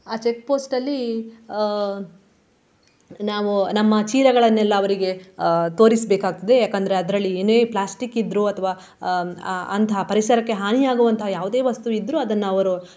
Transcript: ಆ checkpost ಅಲ್ಲಿ ಅಹ್ ನಾವು ನಮ್ಮ ಚೀಲಗಳನ್ನೆಲ್ಲ ಅವರಿಗೆ ಅಹ್ ತೋರಿಸ್ಬೇಕಾಗ್ತದೆ ಯಾಕಂದ್ರೆ ಅದ್ರಲ್ಲಿ ಏನೇ plastic ಇದ್ರೂ ಅಥ್ವಾ ಆ ಅಂತಹ ಪರಿಸರಕ್ಕೆ ಹಾನಿವಾಗುವಂತಹ ಯಾವುದೇ ವಸ್ತು ಇದ್ರೂ ಅದನ್ನು ಅವರು.